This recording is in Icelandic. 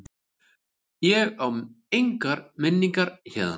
Ég á engar minningar héðan.